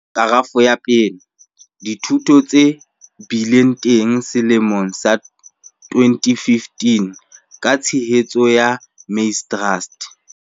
Kerafo 1- Dithuto tse bileng teng selemong sa 2015 ka tshehetso ya Maize Trust.